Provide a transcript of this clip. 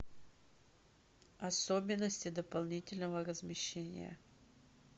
особенности дополнительного размещения